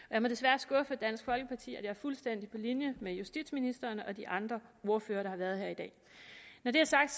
jeg må desværre skuffe dansk folkeparti at er fuldstændig på linje med justitsministeren og de andre ordførere der har været her i dag når det er sagt